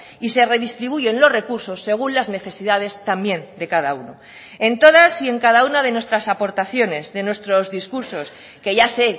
y se redistribuyen los recursos según las necesidades también de cada uno en todas y en cada una de nuestras aportaciones de nuestros discursos que ya sé